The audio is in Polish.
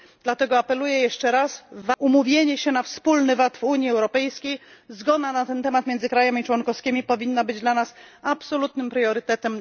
Dlatego apeluję jeszcze raz umówienie się na wspólny VAT w Unii Europejskiej, zgoda na ten temat między państwami członkowskimi powinna być dla nas absolutnym priorytetem.